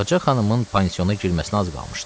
Ağca xanımın pansiona girməsinə az qalmışdı.